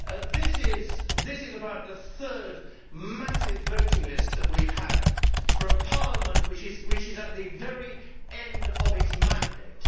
This is about the third massive voting list that we have had, for a Parliament which is at the very end of its mandate.